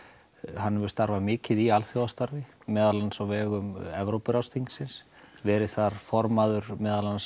hann hefur starfað mikið í alþjóðastarfi meðal annars á vegum Evrópuráðsþingsins verið þar formaður meðal annars